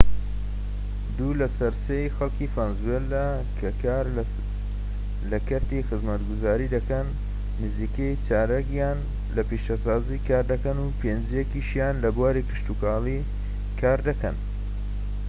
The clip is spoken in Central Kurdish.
دوو لە سەر سێی خەڵکی ڤەنزوێلا کە کار لە کەرتی خزمەتگوزاری دەکەن نزیکەی چارەکیان لە پیشەسازی کار دەکەن و پێنجیەکیشیان لە بواری کشتوکاڵ کار دەکەن